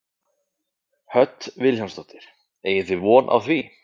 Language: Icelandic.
Hödd Vilhjálmsdóttir: Eigið þið von á því?